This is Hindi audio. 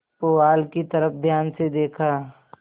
पुआल की तरफ ध्यान से देखा